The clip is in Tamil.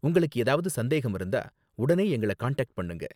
உங்களுக்கு ஏதாவது சந்தேகம் இருந்தா உடனே எங்கள காண்டாக்ட் பண்ணுங்க.